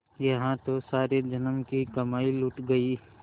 यहाँ तो सारे जन्म की कमाई लुट गयी